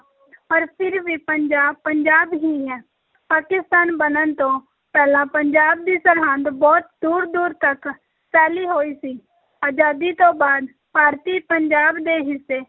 ਪਰ ਫਿਰ ਵੀ ਪੰਜਾਬ, ਪੰਜਾਬ ਹੀ ਹੈ, ਪਾਕਿਸਤਾਨ ਬਣਨ ਤੋਂ ਪਹਿਲਾਂ ਪੰਜਾਬ ਦੀ ਸਰਹੱਦ ਬਹੁਤ ਦੂਰ-ਦੂਰ ਤੱਕ ਫੈਲੀ ਹੋਈ ਸੀ ਅਜ਼ਾਦੀ ਤੋਂ ਬਾਅਦ ਭਾਰਤੀ ਪੰਜਾਬ ਦੇ ਹਿੱਸੇ